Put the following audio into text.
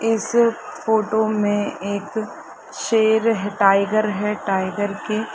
इस फोटो में एक शेर है टाइगर है टाइगर के--